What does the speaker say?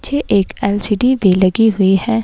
पीछे एक एल_सी_डी भी लगी हुई है।